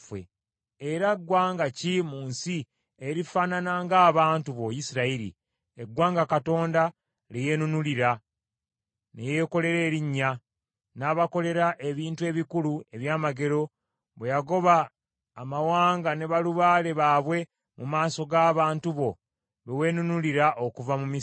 Era ggwanga ki mu nsi erifaanana ng’abantu bo Isirayiri, eggwanga Katonda lye yeenunulira, ne yeekolera erinnya, n’abakolera ebintu ebikulu eby’amagero bwe yagoba amawanga ne balubaale baabwe mu maaso g’abantu bo be weenunulira okuva mu Misiri?